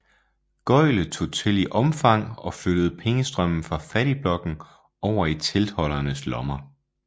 Gøglet tog til i omfang og flyttede pengestrømmen fra fattigblokken over i teltholdernes lommer